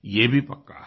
ये भी पक्का है